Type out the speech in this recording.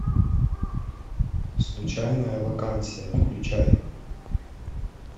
случайная вакансия включай